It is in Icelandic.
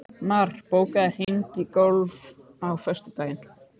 Mar, bókaðu hring í golf á föstudaginn.